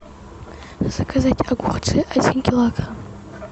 заказать огурцы один килограмм